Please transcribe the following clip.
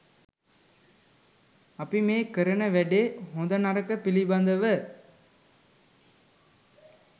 අපි මේ කරන වැඩේ හොඳ නරක පිළිබදව